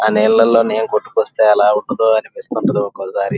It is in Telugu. అః నీళ్ళలో నేను కొట్టుకాస్తే ఎలా ఉంటుందో అనిపిస్తుంది ఒక ఒకసారి.